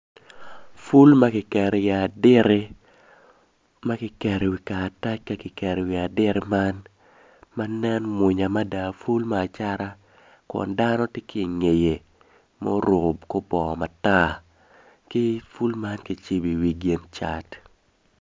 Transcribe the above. Ful ma ki keri i aditi ma ki keri i karatac ka kikeri iwi aditi man ma nen mwunya mada ful me acata kun dano ti ki ingeye muruku kor bongo matar ki ful man kicibi iwi gin cat